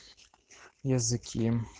языке